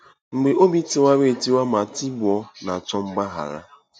Mgbe “Obi Tiwara etiwa ma Tigbuo” Na-achọ Mgbaghara